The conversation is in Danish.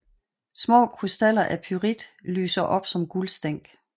Små krystaller af pyrit lyser op som guldstænk